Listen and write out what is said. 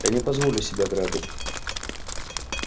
я не позволю себя грабить